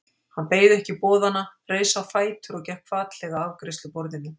Hann beið ekki boðanna, reis á fætur og gekk hvatlega að afgreiðsluborðinu.